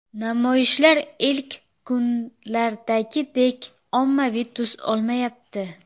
Namoyishlar ilk kunlardagidek ommaviy tus olmayapti.